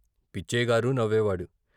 పిచ్చయ్యగారూ నవ్వేవాడు.